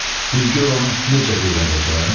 Bir gör onu necə öyrədəcəm?